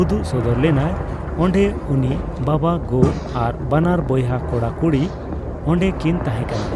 ᱩᱫᱩᱜ ᱥᱚᱫᱚᱨ ᱞᱮᱱᱟᱭ, ᱚᱸᱰᱮ ᱩᱱᱤ ᱵᱟᱵᱟᱼᱜᱚ ᱟᱨ ᱵᱟᱱᱟᱨ ᱵᱚᱭᱦᱟ ᱠᱚᱲᱟ ᱠᱩᱲᱤ ᱚᱸᱰᱮ ᱠᱤᱱ ᱛᱟᱦᱮᱸᱠᱟᱱᱟ᱾